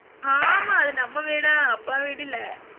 ஆமா அது நம்ம வீடா? அப்பா வீடுல?